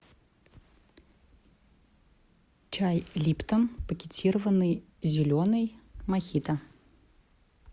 чай липтон пакетированный зеленый мохито